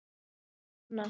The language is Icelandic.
Sín vegna.